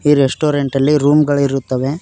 ಈ ರೆಸ್ಟೋರೆಂಟ್ ಅಲ್ಲಿ ರೂಮ್ ಗಳಿರುತ್ತವೆ.